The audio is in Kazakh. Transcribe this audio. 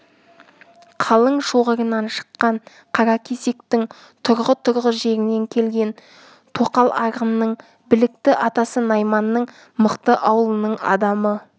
қалың шоғырынан шыққан қаракесектің тұрғы-тұрғы жерінен келген тоқал арғынның білікті атасы найманның мықты аулының адамы